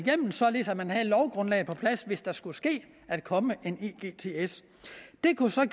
således at man havde lovgrundlaget på plads hvis der skulle ske at komme en egts det kunne så